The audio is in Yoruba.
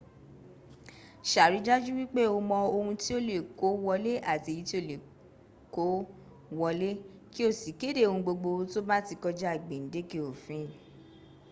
sàrìdájú wípé o mọ ohun tí o le kó wọlé àti èyí tí o kò le kó wọlé kí o sì kéde ohungbogbo tó bá ti kọjá gbèǹdékè òfin